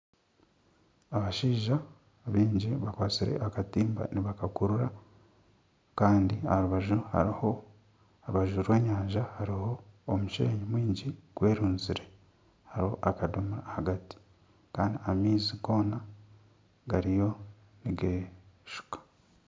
Abashaija baingi bakwatsire akatimba nibakakurura kandi aha rubaju rw'enyanja hariho omushenyi mwingi gwerunzire kandi hariho akadomora ahagati kandi amaizi goona gariyo nigeeshuka